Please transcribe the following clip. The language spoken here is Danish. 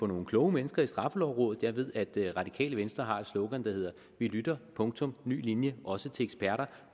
nogle kloge mennesker i straffelovrådet jeg ved at det radikale venstre har et slogan der hedder vi lytter punktum ny linje også til eksperter